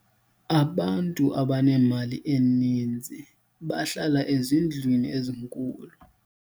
abantu abanemali eninzi bahlala ezindlwini ezinkulu